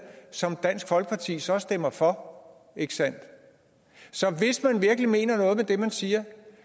som dansk folkeparti så stemmer for ikke sandt så hvis man virkelig mener noget med det man siger